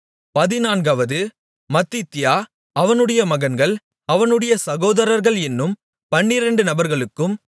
பதினான்காவது மத்தித்தியா அவனுடைய மகன்கள் அவனுடைய சகோதரர்கள் என்னும் பன்னிரெண்டு நபர்களுக்கும்